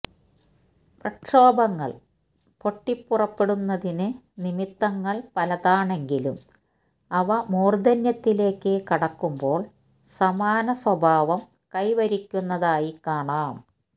പ്രക്ഷോഭങ്ങള് പൊട്ടിപ്പുറപ്പെടുന്നതിന് നിമിത്തങ്ങള് പലതാണെങ്കിലും അവ മൂര്ധന്യത്തിലേക്ക് കടക്കുമ്പോള് സമാന സ്വഭാവം കൈവരിക്കുന്നതായി കാണാം